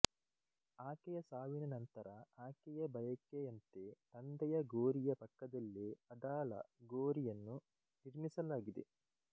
ಆಕೆಯ ಸಾವಿನ ನಂತರ ಆಕೆಯ ಬಯಕೆಯಂತೆ ತಂದೆಯ ಗೋರಿಯ ಪಕ್ಕದಲ್ಲೇ ಅದಾಳ ಗೋರಿಯನ್ನು ನಿರ್ಮಿಸಲಾಯಿತು